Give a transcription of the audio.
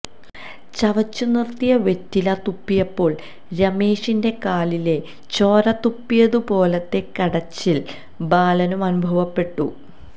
ചവച്ചു നിർത്തിയ വെറ്റില തുപ്പിയപ്പോൾ രമേഷന്റെ കാലിലെ ചോരതുപ്പിയതുപോലത്തെ കടച്ചിൽ ബാലനു അനുഭവപ്പെട്ടു